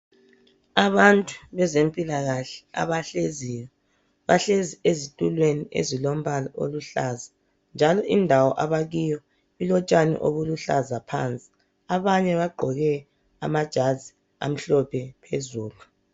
Abantu bezempilakahle abahleziyo bahlezi ezitulweni ezilombala oluhlaza. Njalo indawo abakiyo ilotshani obuluhlaza phansi abanye bagqoke amajazi amhlophe phezulu.